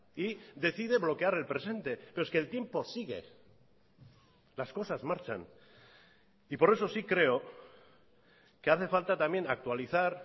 y decide bloquear el presente pero es que el tiempo sigue las cosas marchan y por eso sí creo que hace falta también actualizar